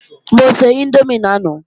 Mo se índómì lánàá